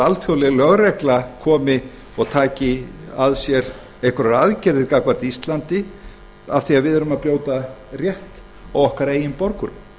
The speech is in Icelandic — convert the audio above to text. alþjóðleg lögregla taki að sér einhverjar aðgerðir gagnvart íslandi af því við erum að brjóta rétt á okkar eigin borgurum